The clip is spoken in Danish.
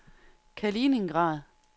Kaliningrad